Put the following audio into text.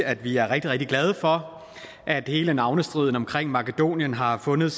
at vi er rigtig rigtig glade for at hele navnestriden om makedonien har fundet